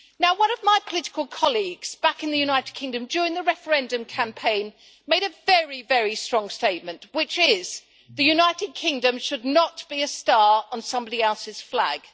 One of my political colleagues back in the United Kingdom during the referendum campaign made a very, very strong statement, which is the United Kingdom should not be a star on somebody else's flag'.